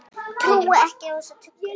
Trúi ekki á þessa tuggu.